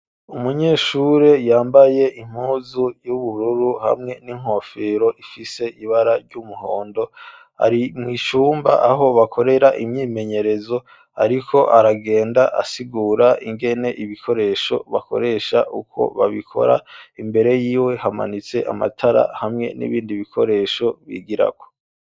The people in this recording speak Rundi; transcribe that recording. Umunyeshure yambaye impuzu y'ubururu hamwe n'inkofero ifise ibara ry'umuhondo ari mw'icumba aho bakorera imyimenyerezo, ariko aragenda asigura ingene ibikoresho bakoresha ukwo babikora imbere yiwe hamanitse amatara hamwe n'ibe bindi ibikoresho bigirako.